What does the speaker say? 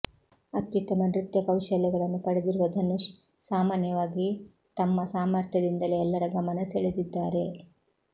ಅತ್ಯುತ್ತಮ ನೃತ್ಯ ಕೌಶಲ್ಯಗಳನ್ನು ಪಡೆದಿರುವ ಧನುಷ್ ಸಾಮಾನ್ಯವಾಗಿ ತಮ್ಮ ಸಾಮರ್ಥ್ಯದಿಂದಲೇ ಎಲ್ಲರ ಗಮನ ಸೆಳೆದಿದ್ದಾರೆ